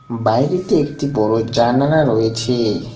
বাইরেতে একটি বড় জানালা রয়েছে।